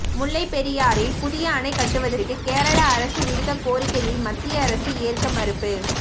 முல்லைபெரியாறில் புதிய அணை கட்டுவதற்கு கேரள அரசு விடுத்த கோரிக்கையை மத்திய அரசு ஏற்க மறுப்பு